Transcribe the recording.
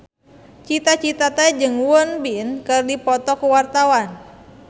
Cita Citata jeung Won Bin keur dipoto ku wartawan